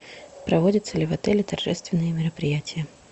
проводятся ли в отеле торжественные мероприятия